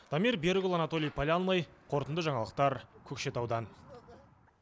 дамир берікұлы анатолий полянный қорытынды жаңалықтар көкшетаудан